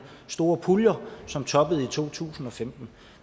store puljer som toppede i to tusind og femten